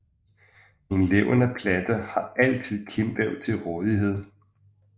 En levende plante har altid kimvæv til rådighed